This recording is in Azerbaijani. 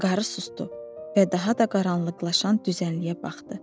Qarı susdu və daha da qaranlıqlaşan düzənliyə baxdı.